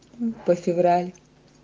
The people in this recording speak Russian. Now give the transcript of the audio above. по февраль